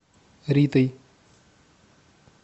ритой